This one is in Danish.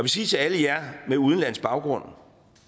sige til alle jer med udenlandsk baggrund